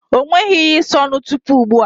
O nweghi ihe ịsa ọnụ tupu ugbu a.